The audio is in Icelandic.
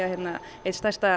eitt stærsta